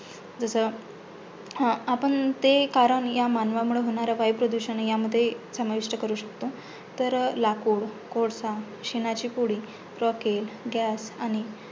जसं हा आपण ते या कारण मानवामुळे होणारे वायुप्रदुषण ह्यामध्ये समाविष्ट करू शकतो, जसे लाकूड, कोळसा, शेणाची पुडी आणि